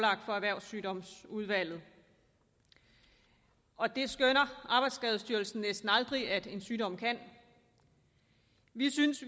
erhvervssygdomsudvalget og det skønner arbejdsskadestyrelsen næsten aldrig at en sygdom kan vi synes